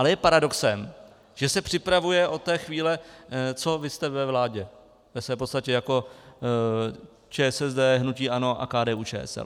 Ale je paradoxem, že se připravuje od té chvíle, co vy jste ve vládě ve své podstatě jako ČSSD, hnutí ANO a KDU-ČSL.